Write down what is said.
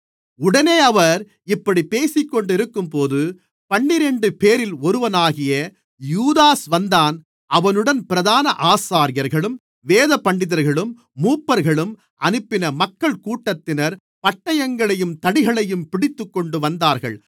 உடனே அவர் இப்படிப் பேசிக்கொண்டிருக்கும்போது பன்னிரண்டுபேரில் ஒருவனாகிய யூதாஸ் வந்தான் அவனுடன் பிரதான ஆசாரியர்களும் வேதபண்டிதர்களும் மூப்பர்களும் அனுப்பின மக்கள்கூட்டத்தினர் பட்டயங்களையும் தடிகளையும் பிடித்துக்கொண்டுவந்தார்கள்